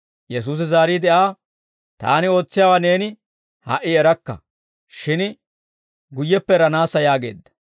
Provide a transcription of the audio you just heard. Yesuusi zaariide Aa, «Taani ootsiyaawaa neeni ha"i erakka; shin guyyeppe eranaassa» yaageedda.